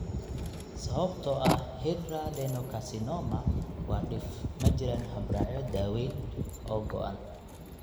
Sababtoo ah hidradenocarcinoma waa dhif, ma jiraan habraacyo daawaynta oo go'an.